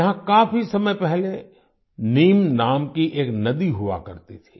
यहाँ काफी समय पहले नीम नाम की एक नदी हुआ करती थी